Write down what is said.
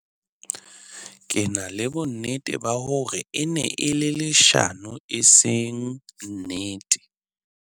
Ke na le bonnete ba hore e ne e le leshano e seng nnete.